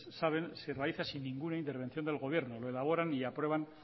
saben se realizan sin ninguna intervención del gobierno lo elaboran y aprueban